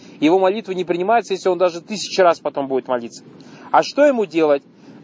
его молитвы не принимаются если он даже тысячу раз потом будет молиться а что ему делать